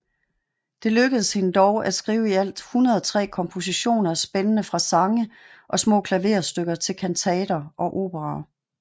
Det lykkedes hende dog at skrive i alt 103 kompositioner spændende fra sange og små klaverstykker til kantater og operaer